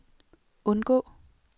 undgå